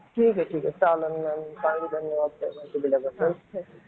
ठीक आहे ठीक आहे चालेल मग धन्यवाद माहिती दिल्याबद्दल.